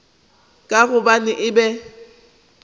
ka gobane e be e